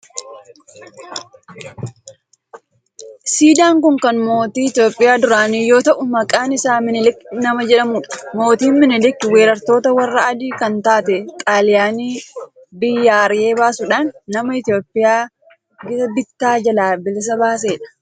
Siidaan kun kan mootii Itiyoophiyaa duraanii yoo ta'u maqaan isaa minilik nama jedhamudha. mootiin minilik weerartoota warra adii kan taate xaaliyaani biyyaa ari'ee baasudhan nama Itiyoophiyaa gita bittaa jalaa bilisa baasedha.